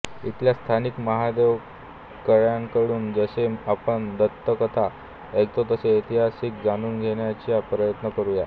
इथल्या स्थानिक महादेवकळ्यांकडून जसे आपण दंतकथा ऐकतो तसे इतिहासही जाणून घेण्याचा प्रयत्न करूया